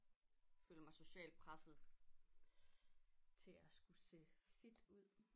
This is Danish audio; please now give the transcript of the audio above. Føler mig socialt presset til at skulle se fit ud